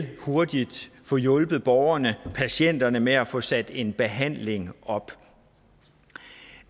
til hurtigt at få hjulpet borgerne patienterne med at få sat en behandling op